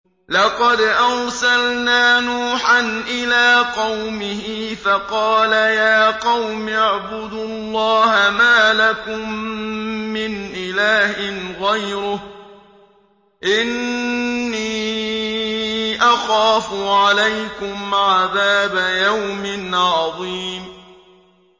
لَقَدْ أَرْسَلْنَا نُوحًا إِلَىٰ قَوْمِهِ فَقَالَ يَا قَوْمِ اعْبُدُوا اللَّهَ مَا لَكُم مِّنْ إِلَٰهٍ غَيْرُهُ إِنِّي أَخَافُ عَلَيْكُمْ عَذَابَ يَوْمٍ عَظِيمٍ